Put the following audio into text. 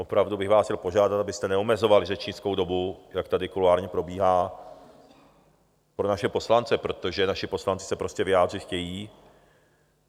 Opravdu bych vás chtěl požádat, abyste neomezovali řečnickou dobu, jak tady kuloárně probíhá, pro naše poslance, protože naši poslanci se prostě vyjádřit chtějí.